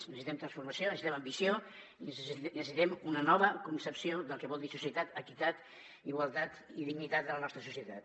necessitem transformació necessitem ambició i necessitem una nova concepció del que vol dir societat equitat igualtat i dignitat de la nostra societat